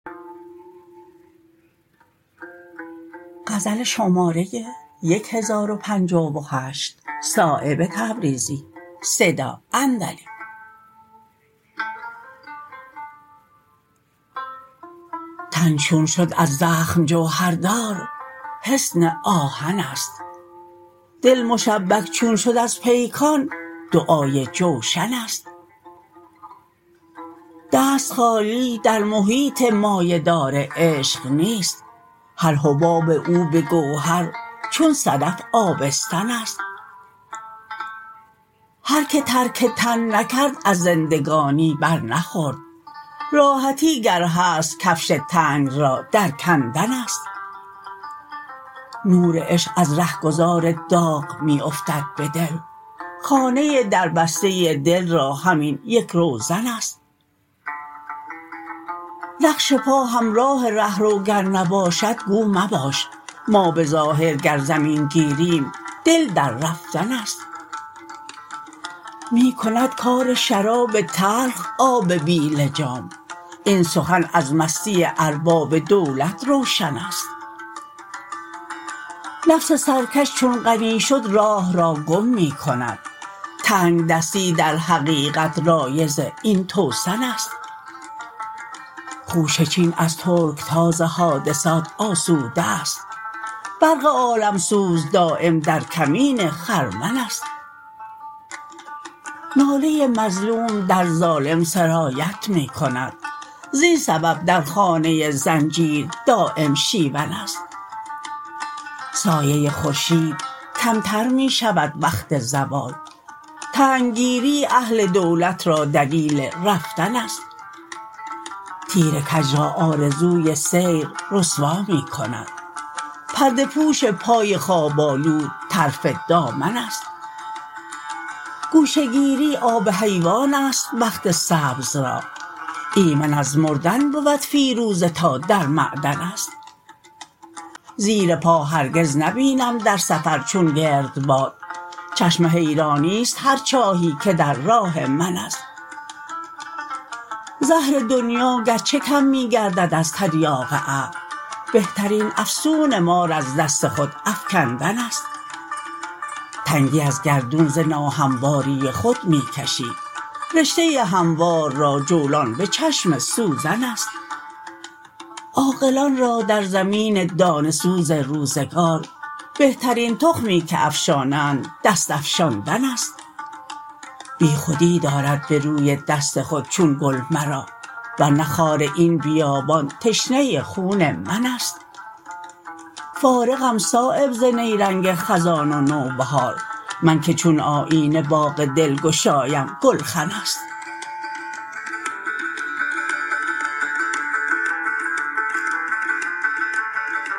تن چون شد از زخم جوهردار حصن آهن است دل مشبک چون شد از پیکان دعای جوشن است دست خالی در محیط مایه دار عشق نیست هر حباب او به گوهر چون صدف آبستن است هر که ترک تن نکرد از زندگانی برنخورد راحتی گر هست کفش تنگ را در کندن است نور عشق از رهگذار داغ می افتد به دل خانه دربسته دل را همین یک روزن است نقش پا همراه رهرو گر نباشد گو مباش ما به ظاهر گر زمین گیریم دل در رفتن است می کند کار شراب تلخ آب بی لجام این سخن از مستی ارباب دولت روشن است نفس سرکش چون غنی شد راه را گم می کند تنگدستی در حقیقت رایض این توسن است خوشه چین از ترکتاز حادثات آسوده است برق عالمسوز دایم در کمین خرمن است ناله مظلوم در ظالم سرایت می کند زین سبب در خانه زنجیر دایم شیون است سایه خورشید کمتر می شود وقت زوال تنگ گیری اهل دولت را دلیل رفتن است تیر کج را آرزوی سیر رسوا می کند پرده پوش پای خواب آلود طرف دامن است گوشه گیری آب حیوان است بخت سبز را ایمن از مردن بود فیروزه تا در معدن است زیر پا هرگز نبینم در سفر چون گردباد چشم حیرانی است هر چاهی که در راه من است زهر دنیا گرچه کم می گردد از تریاق عقل بهترین افسون مار از دست خود افکندن است تنگی از گردون ز ناهمواری خود می کشی رشته هموار را جولان به چشم سوزن است عاقلان را در زمین دانه سوز روزگار بهترین تخمی که افشانند دست افشاندن است بیخودی دارد به روی دست خود چون گل مرا ور نه خار این بیابان تشنه خون من است فارغم صایب ز نیرنگ خزان و نوبهار من که چون آیینه باغ دلگشایم گلخن است